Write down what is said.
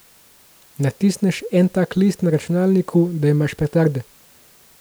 Natisneš en tak list na računalniku, da imaš petarde.